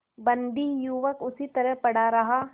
बंदी युवक उसी तरह पड़ा रहा